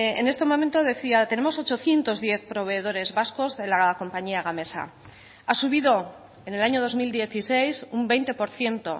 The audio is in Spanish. en este momento decía tenemos ochocientos diez proveedores vascos de la compañía gamesa ha subido en el año dos mil dieciséis un veinte por ciento